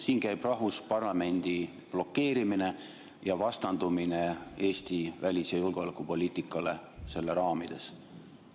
Siin käib rahvusparlamendi blokeerimine ja vastandumine Eesti välis- ja julgeolekupoliitikale selle raamides.